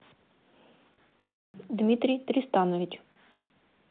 дмитрий тристанович